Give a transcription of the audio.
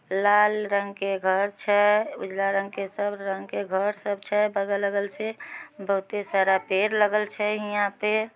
लाल रंग के घर छै। उजला रंग के सब रंग के घर सब छै। बगल-अगल से बहुते सारा पेड़ लगल छै हीया पे।